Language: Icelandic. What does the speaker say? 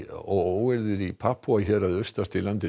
óeirðir í Papúa héraði austast í landinu